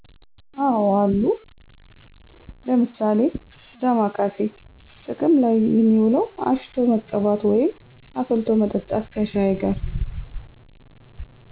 አዎ አሉ። ለምሣሌ፦ ዳማካሴ ጥቅም ላይ የሚውለው አሽቶ መቀባት ወይም አፍልቶ መጠጣት ከሻይ ጋር